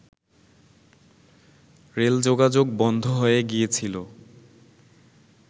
rail যোগাযোগ বন্ধ হয়ে গিয়েছিল